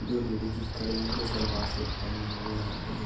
दो लेडीजीस खड़ी हुई जो सलवार शुट पहने हुई है और जिस --